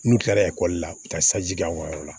N'u kilara ekɔli la u bɛ taa saji k'aw ka yɔrɔ la